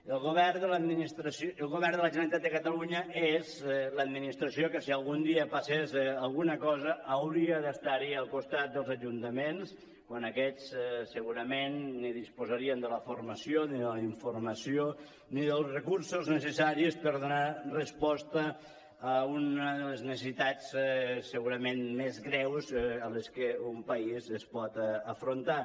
el govern de la generalitat catalunya és l’administració que si algun dia passés alguna cosa hauria d’estar al costat dels ajuntaments quan aquests segurament ni disposarien de la formació ni de la informació ni dels recursos necessaris per donar resposta a una de les necessitats segurament més greus a les que un país es pot afrontar